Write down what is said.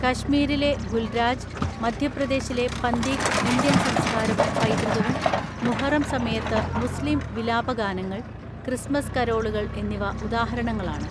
കശ്മീരിലെ ഗുൽരാജ്, മധ്യപ്രദേശിലെ പന്തീക് ഇന്ത്യൻ സംസ്കാരവും പൈതൃകവും, മുഹറം സമയത്ത് മുസ്ലീം വിലാപഗാനങ്ങൾ, ക്രിസ്മസ് കരോളുകൾ എന്നിവ ഉദാഹരണങ്ങളാണ്.